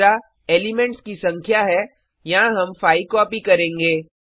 दूसरा एलिमेंट्स की संख्या है यहाँ हम 5 कॉपी करेंगे